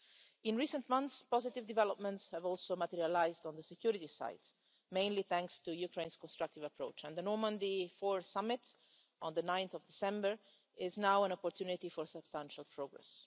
In in recent months, positive developments have also materialised on the security side, mainly thanks to Ukraine's constructive approach and the Normandy Four Summit on 9 December is now an opportunity for substantial progress.